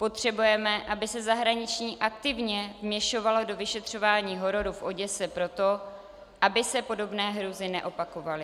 Potřebujeme, aby se zahraničí aktivně vměšovalo do vyšetřování hororu v Oděse proto, aby se podobné hrůzy neopakovaly.